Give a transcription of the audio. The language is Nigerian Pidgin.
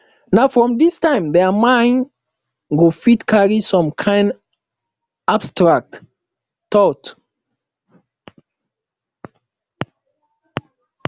na from this time their mind go fit carry some kind abstract thought